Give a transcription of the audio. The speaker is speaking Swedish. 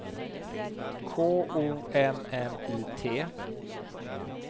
K O M M I T